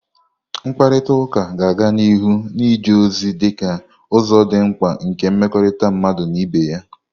Mkparịta ụka ga-aga n'ihu na-eje ozi dịka ụzọ dị mkpa nke mmekọrịta mmadụ na ibe ya.